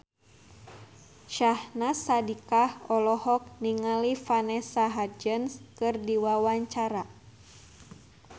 Syahnaz Sadiqah olohok ningali Vanessa Hudgens keur diwawancara